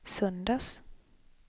söndags